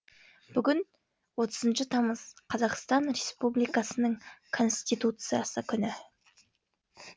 бүгін отызыншы тамыз қазақстан республикасының конституциясы күні